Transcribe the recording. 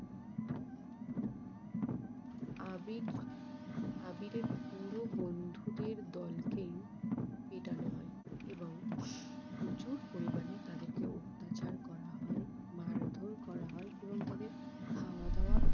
আবির আবিরের পুরো বন্ধুদের দলকেই পেটানো হয় প্রচুর পরিমানে তাদেরকে অত্যাচার করা হয়, মারধর করা হয়, এবং তাদের খাওয়াদাওয়া